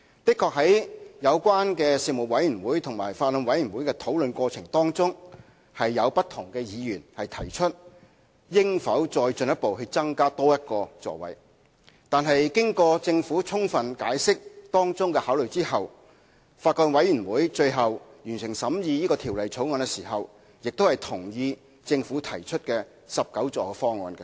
在事務委員會及法案委員會的討論過程中，確實有不同議員曾提出應否再進一步，增加多1個座位，但經過政府充分解釋當中的考慮後，法案委員會最後在完成審議《條例草案》時也同意政府提出的19個座位方案。